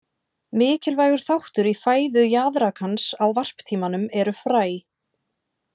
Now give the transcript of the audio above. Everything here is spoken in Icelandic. Mikilvægur þáttur í fæðu jaðrakans á varptímanum eru fræ.